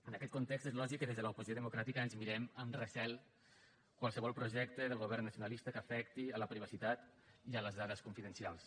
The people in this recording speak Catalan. en aquest context és lògic que des de l’oposició democràtica ens mirem amb recel qualsevol projecte del govern nacionalista que afecti la privacitat i les dades confidencials